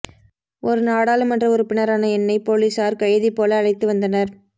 ஒரு நாடாளுமன்ற உறுப்பினரான என்னை போலீசார் கைதி போல அழைத்து வந்தனர்